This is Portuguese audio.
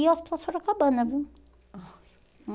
E o hospital sorocabana, viu?